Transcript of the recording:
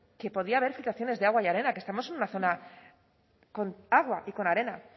que podía haber filtraciones de agua y arena que estamos en una zona con agua y con arena